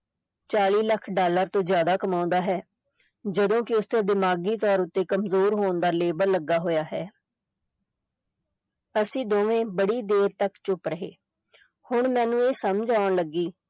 ਚਾਲੀ ਲੱਖ ਡਾਲਰ ਤੋਂ ਜਿਆਦਾ ਕਮਾਉਂਦਾ ਹੈ ਜਦੋਂ ਕਿ ਉਸ ਤੇ ਦਿਮਾਗੀ ਤੌਰ ਉੱਤੇ ਕਮਜ਼ੋਰ ਹੋਣ label ਲੱਗਾ ਹੋਇਆ ਹੈ ਅਸੀਂ ਦੋਵੇਂ ਬੜੀ ਦੇਰ ਤਕ ਚੁਪ ਰਹੇ ਹੁਣ ਮੈਨੂੰ ਇਹ ਸਮਝ ਆਉਂਣ ਲੱਗੀ